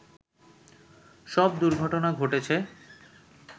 সব দুর্ঘটনা ঘটেছে